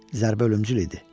Zərbə ölümcül idi.